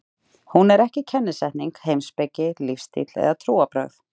Hún er ekki kennisetning, heimspeki, lífstíll eða trúarbrögð.